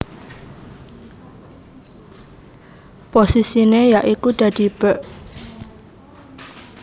Posisiné ya iku dadi bèk